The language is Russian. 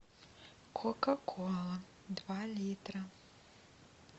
кока кола два литра